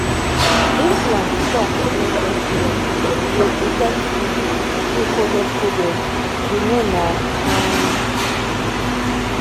implant talk no get stress — e dey protect you you coded coded um you know na um small pause.